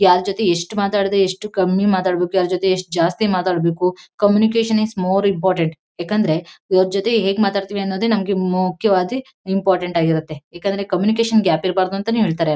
ಯಾರ್ ಜೊತೆ ಎಷ್ಟ್ ಮಾತಾಡ್ದೆ ಎಷ್ಟ್ ಕಮ್ಮಿ ಮಾತಾಡ್ಬೇಕು ಯಾರ್ ಜೊತೆ ಎಷ್ಟ್ ಜಾಸ್ತಿ ಮಾತಾಡ್ಬೇಕು ಕಮ್ಯುನಿಕೇಷನ್ ಈಸ್ ಮೋರ್ ಇಂಪೋರ್ಟೆನ್ಟ್ ಯಾಕಂದ್ರೆ ಇವ್ರ್ ಜೊತೆ ಹೇಗ್ ಮಾತಡ್ತಿವಿ ಅನ್ನೋದೇ ನಮಗೆ ಮುಖ್ಯವಾಗಿ ಇಂಪೋರ್ಟೆನ್ಟ್ ಆಗಿರುತ್ತೆ ಯಾಕಂದ್ರೆ ಕಮ್ಯುನಿಕೇಷನ್ ಗ್ಯಾಪ್ ಇರ್ಬಾರ್ದು ಅಂತಾನೆ ಹೇಳ್ತಾರೆ.